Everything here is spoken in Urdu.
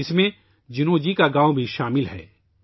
اس میں جینو جی کا گاؤں بھی شامل ہے